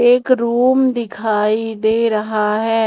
एक रूम दिखाई दे रहा है।